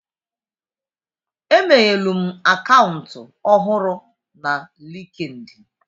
Emeghelum akaụntụ ọhụrụ na Linkidin.